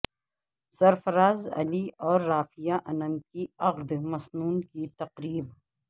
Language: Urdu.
سرفراز علی اور رافعہ انم کی عقد مسنون کی تقریب